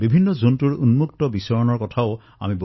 অনেক স্থানত জন্তুৰ মুক্ত বিচৰণৰ খবৰ পোৱা গৈছে